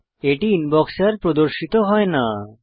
এটি ইনবক্সে আর প্রদর্শিত হয় না